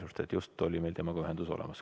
Meil just oli temaga ühendus.